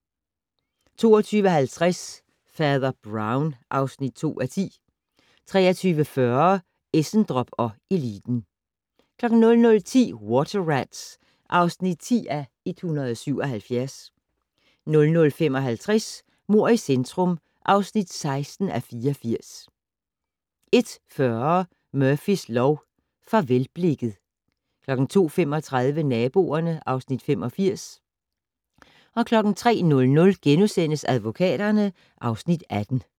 22:50: Fader Brown (2:10) 23:40: Essendrop & eliten 00:10: Water Rats (10:177) 00:55: Mord i centrum (16:84) 01:40: Murphys lov: Farvelblikket 02:35: Naboerne (Afs. 85) 03:00: Advokaterne (Afs. 18)*